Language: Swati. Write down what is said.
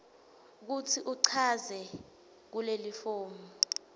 kutsi uchaze kulelifomu